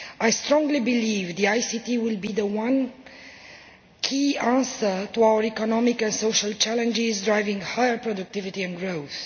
I strongly believe that ICT will be the one key answer to our economic and social challenges, driving higher productivity and growth.